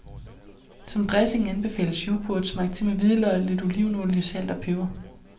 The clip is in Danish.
Som dressing anbefales yoghurt smagt til med hvidløg, lidt olivenolie, salt og peber.